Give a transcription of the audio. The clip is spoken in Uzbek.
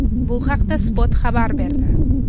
Bu haqda Spot xabar berdi .